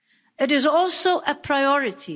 It is also a priority.